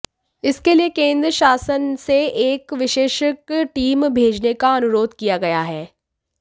इसके लिये केन्द्र शासन से एक विशेषज्ञ टीम भेजने का अनुरोध किया गया है